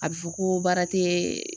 A bi fɔ ko baara tee